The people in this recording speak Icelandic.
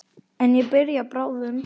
En ég byrja bráðum.